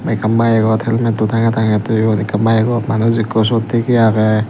ekkan bykot helmetto tangey tangey toyon ekkan bykgo manuj ekko syot tigey agey.